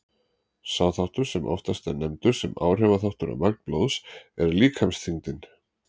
Sá þáttur sem oftast er nefndur sem áhrifaþáttur á magn blóðs er líkamsþyngdin.